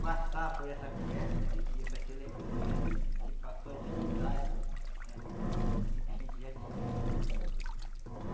passar por essa conversa né que a gente tinha para se lembrou do que já já se passou, a dificuldade né que a gente já tive, né?